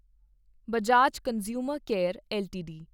Bajaj consumer care LTD